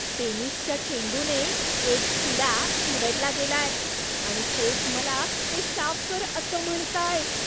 टेनिसच्या चेंडूने एक किडा चिरडला गेलाय आणि कोच मला ते साफ कर असं म्हणतायेत.